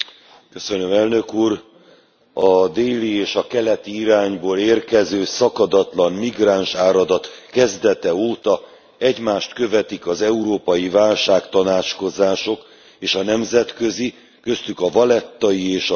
A déli és a keleti irányból érkező szakadatlan migránsáradat kezdete óta egymást követik az európai válságtanácskozások és a nemzetközi köztük a vallettai és a G20 as csúcstalálkozók.